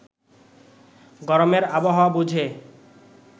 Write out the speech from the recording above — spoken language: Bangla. গরমের আবহাওয়া বুঝে